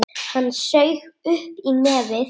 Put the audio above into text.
Hann saug upp í nefið.